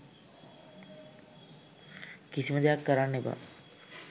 කිසිම දෙයක් කරන්න එපා